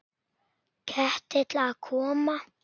Ketill að koma?